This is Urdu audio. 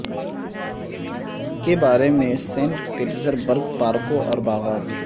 کے بارے میں سینٹ پیٹرز برگ پارکوں اور باغات